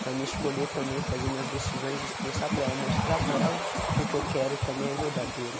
Para mim escolher também, fazer minhas decisões, expressar para ela, mostrar para ela que o que eu quero também é verdadeiro.